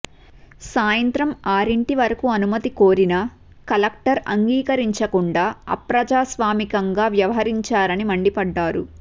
సాయంత్రం ఆరింటి వరకు అనుమతి కోరినా కలెక్టర్ అంగీకరించకుండా అప్రజాస్వామికంగా వ్యవహరించారని మండిపడ్డారు